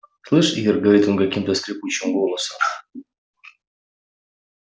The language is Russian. слышь ир говорит он каким-то скрипучим голосом